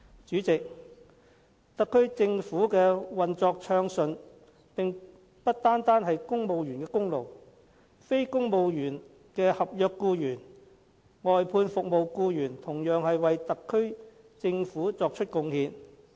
主席，特區政府的運作暢順不單是公務員的功勞，非公務員的合約僱員、外判服務僱員同樣為特區政府作出貢獻。